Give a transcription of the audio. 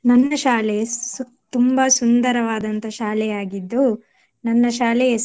ನಮ್ದು ಶಾಲೆ ಸು~ ತುಂಬಾ ಸುಂದರವಾದಂತ ಶಾಲೆಯಾಗಿದ್ದು ನನ್ನ ಶಾಲೆಯ ಹೆಸರು